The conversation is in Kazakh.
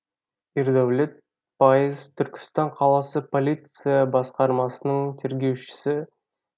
ердәулет пайыз түркістан қаласы полиция басқармасының тергеушісі